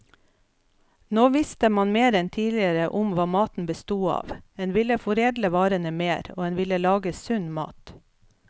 Nå visste man mer enn tidligere om hva maten bestod av, en ville foredle varene mer, og en ville lage sunn mat.